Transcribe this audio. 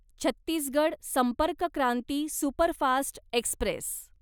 Chhattisgarh Sampark Kranti superfast Express